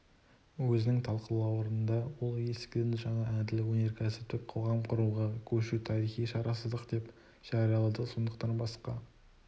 өзінің талқылауларында ол ескіден жаңа әділ өнеркәсіптік қоғам құруға көшу тарихи шарасыздық деп жариялады сондықтан басқа